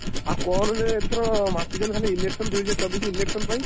ଆଉ କଣରେ ଏଥର ମାତିଛନ୍ତି ଖାଲି election ଦୁଇହଜାର ଚବିଶି election ପାଇଁ।